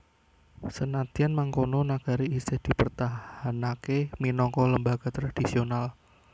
Senadyan mangkono nagari isih dipertahanaké minangka lembaga tradisional